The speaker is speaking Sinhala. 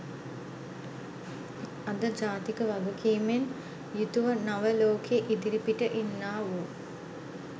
අද ජාතික වගකීමෙන් යුතුව නව ලෝකේ ඉදිරිපිට ඉන්නාවූ